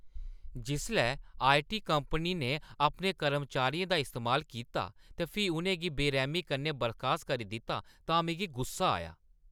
जिसलै I. T. Company ने अपने कर्मचारियें दा इस्तेमाल कीता ते फ्ही उʼनें गी बेरैह्‌मी कन्नै बर्खास्त करी दित्ता तां मिगी गुस्सा आया।